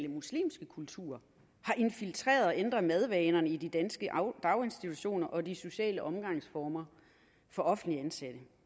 muslimske kultur har infiltreret og ændret madvanerne i de danske daginstitutioner og de sociale omgangsformer for offentligt ansatte